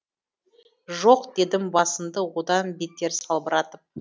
жоқ дедім басымды одан бетер салбыратып